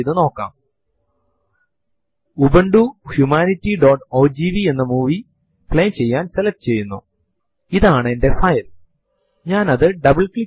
ഇത് നമ്മൾക്ക് ഫൈൽ അനുമതികൾ ഫൈൽ owner ന്റെ പേര് അവസാന ഭേദഗതിയുടെ സമയം bytes ലുള്ള ഫൈൽ ന്റെ വലിപ്പം മുതലായവ തരുന്നു